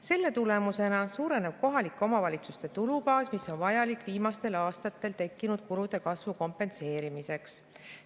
Selle tulemusena suureneb kohalike omavalitsuste tulubaas, mis on vajalik viimastel aastatel tekkinud kulude kasvu kompenseerimiseks.